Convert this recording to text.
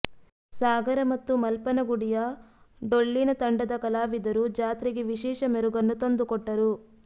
ಸಾಗರ ಮತ್ತು ಮಲ್ಪನಗುಡಿಯ ಡೊಳ್ಳಿನ ತಂಡದ ಕಲಾವಿದರು ಜಾತ್ರೆಗೆ ವಿಶೇಷ ಮೆರುಗನ್ನು ತಂದುಕೊಟ್ಟರು